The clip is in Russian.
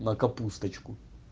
на капусточку